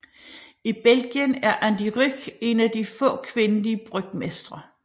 I Belgien er An de Ryck en af de få kvindelige brygmestre